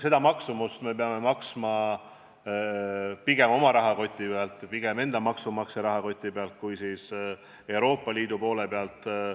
Nende maksumuse peame maksma kinni pigem oma rahakotist, pigem oma maksumaksja rahakotist, mitte Euroopa Liidu toetustest.